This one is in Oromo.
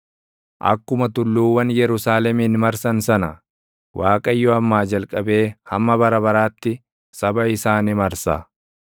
Akkuma tulluuwwan Yerusaalemin marsan sana, Waaqayyo ammaa jalqabee hamma bara baraatti, saba isaa ni marsa.